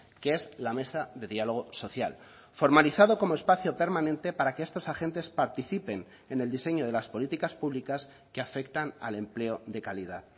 que es la mesa de diálogo social formalizado como espacio permanente para que estos agentes participen en el diseño de las políticas públicas que afectan al empleo de calidad